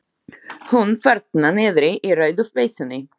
Hún þarna niðri í rauðu peysunni.